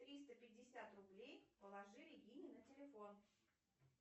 триста пятьдесят рублей положи регине на телефон